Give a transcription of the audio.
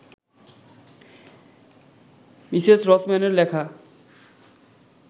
Mrs রসম্যানের লেখা